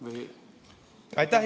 Või kuidas?